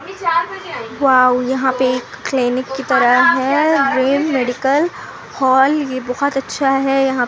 wow यहाँ पर एक क्लिनिक कि तरह है ये मेडिकल हॉल ये बहुत अच्छा है यहाँ पे--